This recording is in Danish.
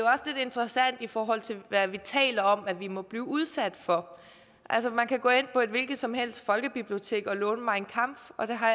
interessant i forhold til hvad vi taler om at vi må blive udsat for altså man kan gå ind på et hvilket som helst folkebibliotek og låne mein kampf og jeg har